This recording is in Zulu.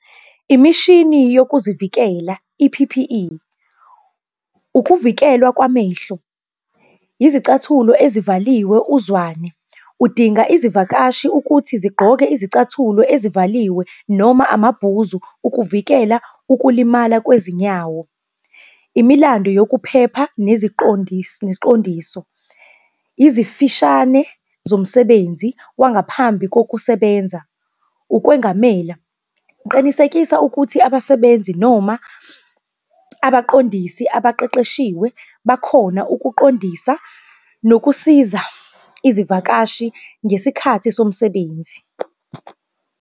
Imishini yokuzivikela, i-P_P_E. Ukuvikelwa kwamehlo, izicathulo ezivaliwe uzwane. Udinga izivakashi ukuthi zigqoke izicathulo ezivaliwe noma amabhuzu ukuvikela ukulimala kwezinyawo. Imilando yokuphepha neziqondisi, neziqondiso, izifishane zomsebenzi wangaphambi kokusebenza, ukwengamela. Qinisekisa ukuthi abasebenzi noma abaqondisi abaqeqeshiwe bakhona ukuqondisa nokusiza izivakashi ngesikhathi somsebenzi.